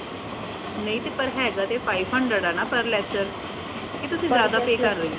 ਨਈ ਤੇ ਪਰ ਹੈਡ ਦਾ ਤੇ five hundred ਹਨਾ ਪਰ lecture ਕਿ ਤੁਸੀ ਜ਼ਿਆਦਾ pay ਕਰ ਰੇ ਹੋ।